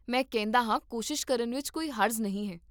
ਮੈਂ ਕਹਿੰਦਾ ਹਾਂ ਕੋਸ਼ਿਸ਼ ਕਰਨ ਵਿੱਚ ਕੋਈ ਹਰਜ਼ ਨਹੀਂ ਹੈ